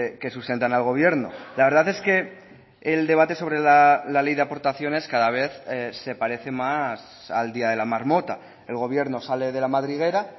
que sustentan al gobierno la verdad es que el debate sobre la ley de aportaciones cada vez se parece más al día de la marmota el gobierno sale de la madriguera